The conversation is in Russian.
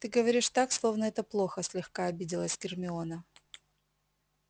ты говоришь так словно это плохо слегка обиделась гермиона